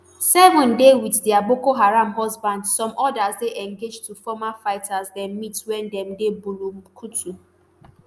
seven dey wit dia boko haram husbands some odas dey engaged to former fighters dem meet wen dem dey bulumkutu